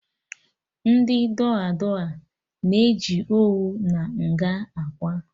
Ndị dụa dụa na-eji owu na nga akwa